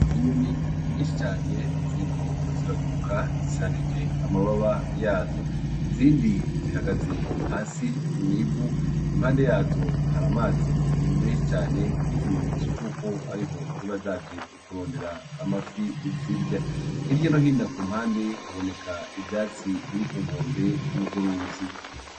Inyoni nyinshi cane ziriko ziraguruka zisanjije amababa yazo izindi zihagaze hasi mw'ivu impande yazo har'amazi menshi cane nk'ikimenyetso c'uko ariho ziba zaje kurondera amafi zirya, hirya nohino ku mpande haboneka ivyatsi biri ku nkombe yurwo ruzi.